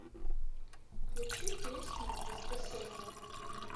включи песню воскресение